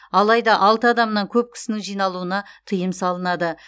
алайда алты адамнан көп кісінің жиналуына тыйым салынады